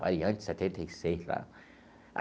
Variante setenta e seis, lá.